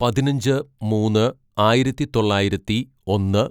പതിനഞ്ച് മൂന്ന് ആയിരത്തിതൊള്ളായിരത്തി ഒന്ന്